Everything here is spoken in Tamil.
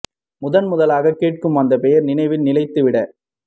முதன் முதலாகக் கேட்கும் அந்தப் பெயர் நினைவில் நிலைத்துவிடக்